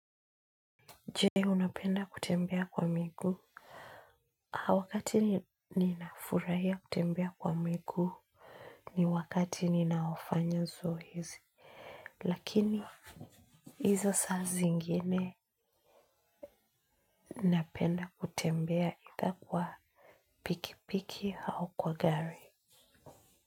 Je unapenda kutembea kwa miguu. Wakati ninafurahia kutembea kwa miguu ni wakati ninaofanya zoezi. Lakini izo saa zingine napenda kutembea either kwa pikipiki au kwa gari.